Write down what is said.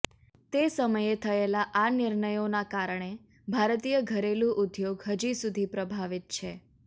તે સમયે થયેલા આ નિર્ણયોના કારણે ભારતીય ઘરેલૂ ઉદ્યોગ હજીસુધી પ્રભાવિત છે